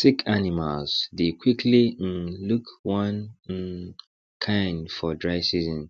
sick animals dey quickly um look one um kind for dry season